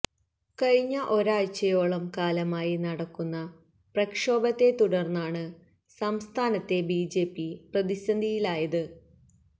കഴിഞ്ഞ ഒരാഴ്ചയോളം കാലമായി നടക്കുന്ന പ്രക്ഷോഭത്തെ തുടര്ന്നാണ് സംസ്ഥാനത്തെ ബിജെപി പ്രതിസന്ധിയിലായത്